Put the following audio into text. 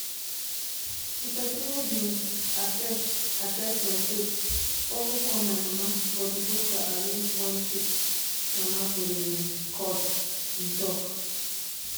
"di pesin wey bin assess assess my case also call my mama but di broker arrange one fake mama for di um call" im tok.